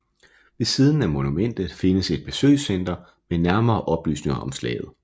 Ved siden af monumentet findes et besøgscenter med nærmere oplysninger om slaget